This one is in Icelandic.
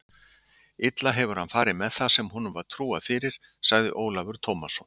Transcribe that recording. Illa hefur hann farið með það sem honum var trúað fyrir, sagði Ólafur Tómasson.